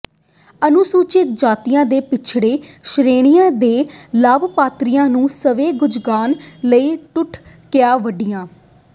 ਅਨੁਸੂਚਿਤ ਜਾਤੀਆਂ ਤੇ ਪੱਛੜੀ ਸ੍ਰੇਣੀਆਂ ਦੇ ਲਾਭਪਾਤਰੀਆਂ ਨੂੰ ਸਵੈ ਰੁਜ਼ਗਾਰ ਲਈ ਟੂਲ ਕਿੱਟਾਂ ਵੰਡੀਆਂ